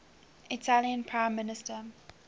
italian prime minister